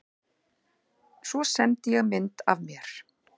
Svo sendi ég mynd af mér.